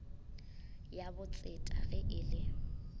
ya botseta ge e le